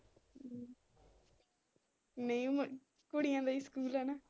ਨਹੀਂ ਕੁੜੀਆਂ ਦਾ ਹੀ ਸਕੂਲ ਆ ਨਾ।